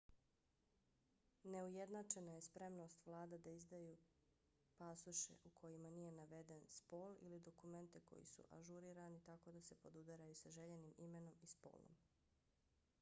neujednačena je spremnost vlada da izdaju pasoše u kojima nije naveden spol x ili dokumente koji su ažurirani tako da se podudaraju sa željenim imenom i spolom